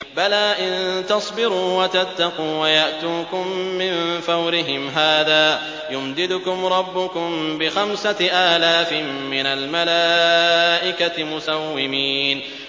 بَلَىٰ ۚ إِن تَصْبِرُوا وَتَتَّقُوا وَيَأْتُوكُم مِّن فَوْرِهِمْ هَٰذَا يُمْدِدْكُمْ رَبُّكُم بِخَمْسَةِ آلَافٍ مِّنَ الْمَلَائِكَةِ مُسَوِّمِينَ